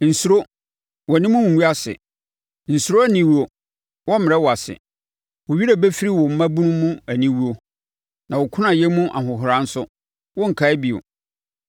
“Nsuro. Wʼanim rengu ase. Nsuro aniwuo. Wɔremmrɛ wo ase. Wo werɛ bɛfiri wo mmabunu mu aniwuo na wo kunayɛ mu ahohora nso, worenkae bio.